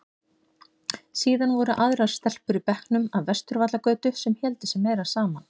Síðan voru aðrar stelpur í bekknum af Vesturvallagötu sem héldu sig meira saman.